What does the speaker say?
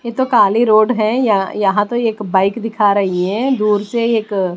ये तो काली रोड है यहां तो एक बाइक दिखा रही है दूर से एक--